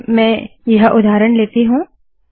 चलिए मैं यह उदाहरण लेती हूँ